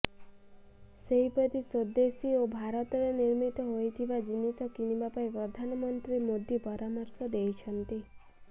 ସେହପରି ସ୍ୱେଦେଶୀ ଓ ଭାରତରେ ନିର୍ମିତ ହୋଇଥିବା ଜିନିଷ କିଣିବା ପାଇଁ ପ୍ରଧାନମନ୍ତ୍ରୀ ମୋଦୀ ପରାମର୍ଶ ଦେଇଛନ୍ତି